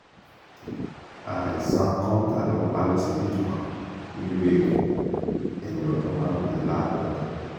àìsàn kọ́ńtà ló pa á lọ́sibítù kan nílùú èkó ẹni ọdún márùnléláàádọ́ta ni